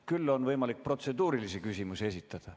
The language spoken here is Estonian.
Küll on võimalik protseduurilisi küsimusi esitada.